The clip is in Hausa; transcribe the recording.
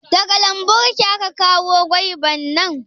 Daga lambun ki aka kawo gwaibar nan?